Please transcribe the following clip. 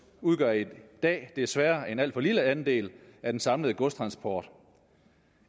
udgør i dag desværre en alt for lille andel af den samlede godstransport